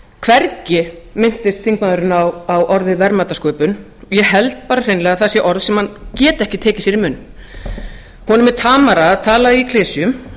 hvergi minntist þingmaðurinn á orðið verðmætasköpun ég held bara hreinlega að það sé orð sem hann geti ekki tekið sér í munn honum er tamara að tala í klisjum